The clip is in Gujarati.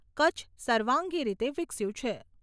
કચ્છ સર્વાંગી રીતે વિકસ્યું છે.